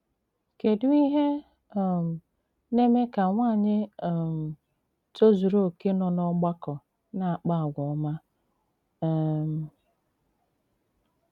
kedụ ìhé um na-eme kà nwànyị̀ um tòzùrù okè nọ n'ọ̀gbàkọ na-àkpà àgwà òma! um